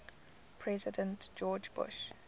president george bush